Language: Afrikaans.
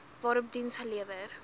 waarop diens gelewer